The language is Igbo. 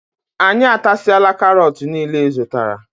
Anyị atasiala karot niile ịzụtara.